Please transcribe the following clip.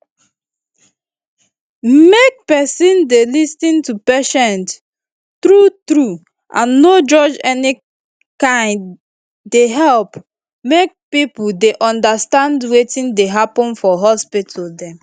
make peson dey lis ten to patient true true and no judge any kain dey help make pipo dey undastand wetin dey happen for hospital dem